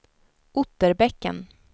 Otterbäcken